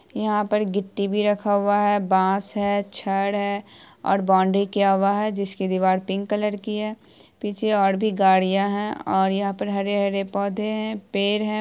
यहां पर गिट्टी भी रखा हुआ है बांस है छड़ है और बॉउंड्री किया हुआ है जिसकी दीवार पिंक कलर की है पीछे और भी गाड़िया है और यहां पर हरे-हरे पौधे है पेड़ है।